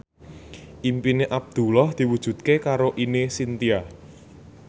impine Abdullah diwujudke karo Ine Shintya